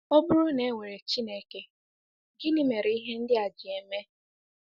Ọ bụrụ na e nwere Chineke, gịnị mere ihe ndị a ji eme?